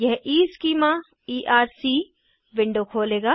यह ईस्कीमा ERC window खोलेगा